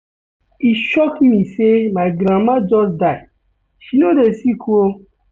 E shock me sey my grandmama just die, she no dey sick o.